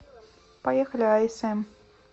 поехали асм